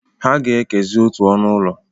Ha ga ekezi otu ọnụ ụlọ.